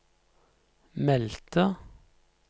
meldte